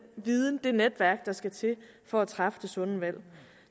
viden og det netværk der skal til for at træffe det sunde valg